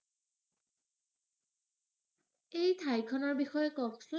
এই ঠাইখনৰ বিষয়ে কওঁকচোন।